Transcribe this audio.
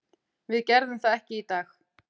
Við gerðum það ekki í dag.